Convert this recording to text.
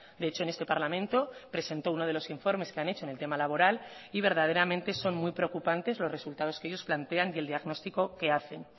de hecho en este parlamento presentó uno de los informes que han hecho en el tema laboral y verdaderamente son muy preocupantes los resultados que ellos plantean y el diagnóstico que hacen